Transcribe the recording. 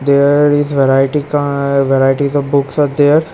There is variety ka-a varieties of books are there.